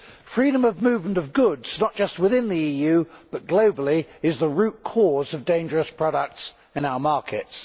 Freedom of movement of goods not just within the EU, but globally is the root cause of dangerous products in our markets.